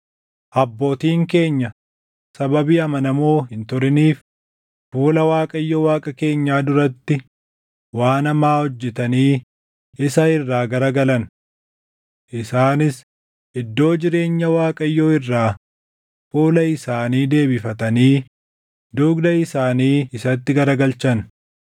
Abbootiin keenya sababii amanamoo hin turiniif fuula Waaqayyo Waaqa keenyaa duratti waan hamaa hojjetanii isa irraa garagalan. Isaanis iddoo jireenya Waaqayyoo irraa fuula isaanii deebifatanii dugda isaanii isatti garagalchan.